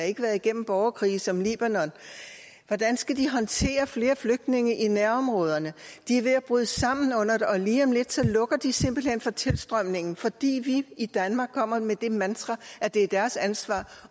ikke været igennem borgerkrige som libanon hvordan skal de håndtere flere flygtninge i nærområderne de er ved at bryde sammen under det og lige om lidt lukker de simpelt hen for tilstrømningen fordi vi i danmark kommer med det mantra at det er deres ansvar